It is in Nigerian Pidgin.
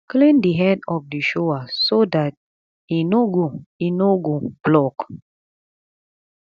clean di head of di shower so dat e no go e no go block